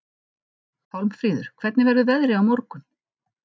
Pálmfríður, hvernig verður veðrið á morgun?